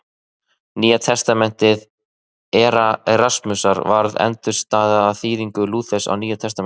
Nýja testamenti Erasmusar varð undirstaðan að þýðingu Lúthers á Nýja testamentinu.